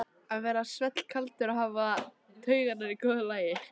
Að vera svellkaldur og hafa taugarnar í góðu lagi!